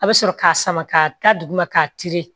A bɛ sɔrɔ k'a sama ka taa duguma k'a turu